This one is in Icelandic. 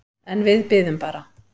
En við biðum bara.